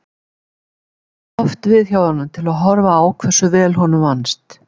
Við komum oft við hjá honum til að horfa á hversu vel honum vannst.